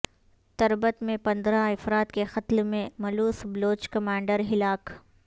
تربت میں پندرہ افراد کے قتل میں ملوث بلوچ کمانڈر ہلاک